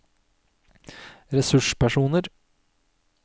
ressurspersoner